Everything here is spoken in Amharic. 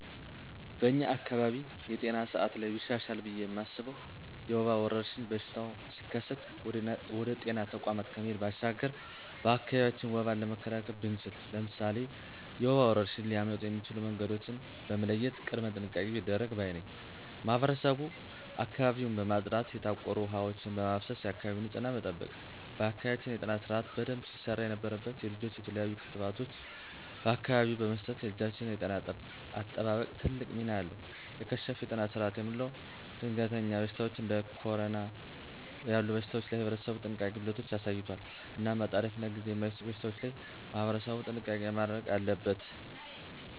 በኛ አካባቢ የጤና ስአት ላይ ቢሻሻል ብየ ማስበው የወባ ወረርሽኝ በሽታው ሲከሰት ወደ ጤና ተቋማት ከመሄድ ባሻገር በአካቢያችን ወባን መካላከል ብንችል። ለምሳሌ፦ የወባ ወረርሽኝ ሊያመጡ የሚችሉ መንገዶችን በመለየት ቅድመ ጥንቃቄ ቢደረግ ባይ ነኝ። ማህበረሰቡ አካባቢውን በማፅዳት የታቆሩ ውሀ ወችን በማፋሰስ የአካባቢ ንፅህናን መጠበቅ። በአካባቢያችን የጤና ስርአት በደንብ ሲሰራ የነበረበት የልጆች የተለያሉ ክትባቶችን በአካቢው በመስጠት የልጆችን የጤና አጠባበቅ ትልቅ ሚና አለው። የከሸፈ የጤና ስርአት የምለው ደንገሀኛ በሽታወች እንዴ ኮረና ያሉ በሽታወች ላይ ህብረተሰቡ የጥንቃቄ ጎደለቶች አሳይቷል። እናም አጣዳፊናጊዜ ማይሰጡ በሽታወች ላይ ማህበረሰቡ ጥንቃቄ ማድረግ አለበት።